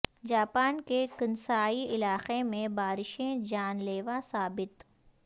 Japan کے Kansai علاقے میں بارشیں جان لیوا ثابت